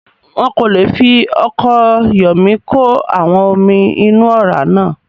Wọn kò le fi ọkọ̀ Yọ̀mí kò àwọn omi inú ọ̀rá náà